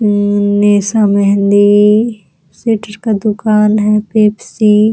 अम्म ये सब मेहंदी का दुकान है पेप्सी --